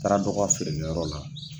taara dɔ ka feerekɛ yɔrɔ la.